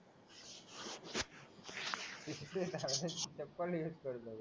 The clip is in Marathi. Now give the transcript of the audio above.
दिसतंय ना रे तोपर्यंत हेच करतो